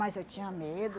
Mas eu tinha medo